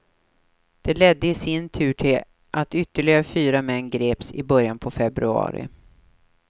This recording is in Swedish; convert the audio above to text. Det ledde i sin tur till att ytterligare fyra män greps i början på februari.